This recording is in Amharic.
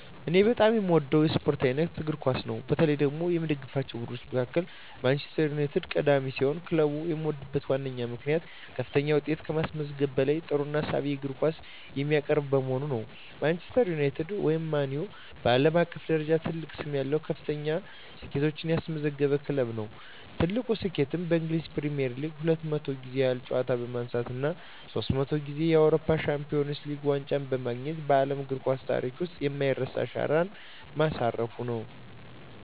እኔ በጣም የምወደው የስፖርት አይነት እግር ኳስ ነው። በተለይ ደግሞ ከምደግፋቸው ቡድኖች መካከል ማንቸስተር ዩናይትድ ቀዳሚ ሲሆን፣ ክለቡን የምወድበት ዋነኛው ምክንያት ከፍተኛ ውጤቶችን ከማስመዝገቡም በላይ ጥሩና ሳቢ የእግር ኳስ የሚያቀርብ በመሆኑ ነው። ማንቸስተር ዩናይትድ (ማን ዩ) በዓለም አቀፍ ደረጃ ትልቅ ስም ያለው እና ከፍተኛ ስኬቶችን ያስመዘገበ ክለብ ነው። ትልቁ ስኬቱም በእንግሊዝ ፕሪሚየር ሊግ 20 ጊዜ ያህል ዋንጫ በማንሳት እና ሶስት ጊዜ የአውሮፓ ቻምፒየንስ ሊግ ዋንጫን በማግኘት በዓለም እግር ኳስ ታሪክ ውስጥ የማይረሳ አሻራ ማሳረፉ ነው።